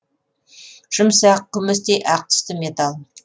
жұмсақ күмістей ақ түсті металл